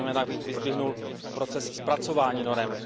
Zejména bych vyzdvihnul proces zpracování norem.